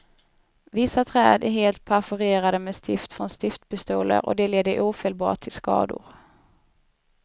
Vissa träd är helt perforerade med stift från stiftpistoler, och det leder ofelbart till skador.